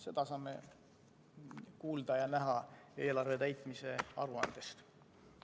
Seda saame kuulda ja näha eelarve täitmise aruandest.